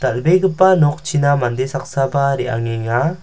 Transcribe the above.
dal·begipa nokchina mande saksaba re·angenga.